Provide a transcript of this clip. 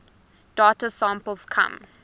data samples come